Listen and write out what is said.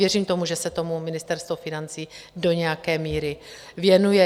Věřím tomu, že se tomu Ministerstvo financí do nějaké míry věnuje.